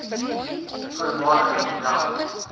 voormalige model